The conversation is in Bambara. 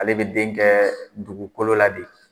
Ale bɛ den kɛ dugukolo la de.